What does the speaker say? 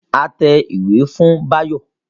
A tẹ ìwé fún Báyọ̀